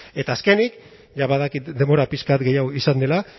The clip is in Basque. eta azkenik ja badakit denbora pixka bat gehiago izan dela